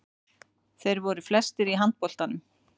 Þeir voru flestir í handboltanum.